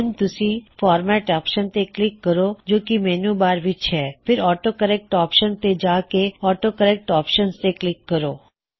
ਹੁਣ ਤੁਸੀ format option ਤੇ ਕਲਿੱਕ ਕਰੋ ਜੋ ਕੀ ਮੈੱਨਯੂ ਬਾਰ ਵਿੱਚ ਹੈ ਫਿਰ ਆਟੋ ਕਰੇਕ੍ਟ ਆਪਸ਼ਨ ਤੇ ਜਾ ਕੇ ਆਟੋ ਕਰੇਕ੍ਟ ਆਪਸ਼ਨਜ਼ ਤੇ ਕਲਿੱਕ ਕਰੋ